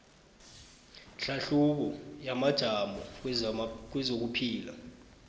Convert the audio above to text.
hlahlubo yamajamo kwezokuphila